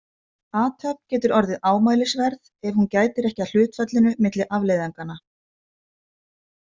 Athöfn getur orðið ámælisverð ef hún gætir ekki að hlutfallinu milli afleiðinganna.